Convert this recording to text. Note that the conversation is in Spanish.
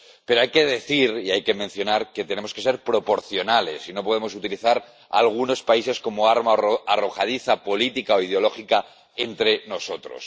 Pero hay que decir que tenemos que ser proporcionales y no podemos utilizar algunos países como arma arrojadiza política o ideológica entre nosotros